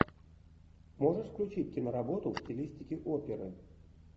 можешь включить киноработу в стилистике оперы